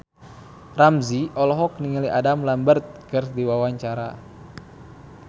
Ramzy olohok ningali Adam Lambert keur diwawancara